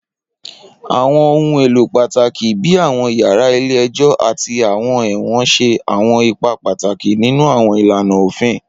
Awọn ohun elo pataki bi awọn yara ile-ẹjọ ati awọn ẹwọn ṣe awọn ipa pataki ninu awọn ilana ofin.